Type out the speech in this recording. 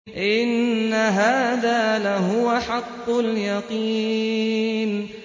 إِنَّ هَٰذَا لَهُوَ حَقُّ الْيَقِينِ